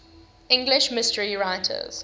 english mystery writers